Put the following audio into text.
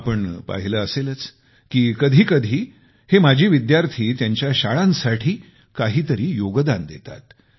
आपण पाहिले असेलच की कधी कधी हे माजी विद्यार्थी त्यांच्या शाळांसाठी काहीतरी योगदान देतात